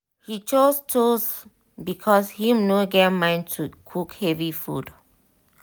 he choose toast because him no get mind to cook heavy food.